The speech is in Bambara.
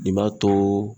Nin b'a to